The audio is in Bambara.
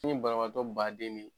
Ni banabaatɔ baden be